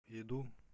иду